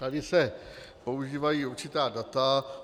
Tady se používají určitá data.